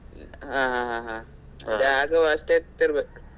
ಹಾ ಹಾ ಹಾ ಹಾ .